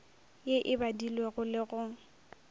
ye e badilwego le go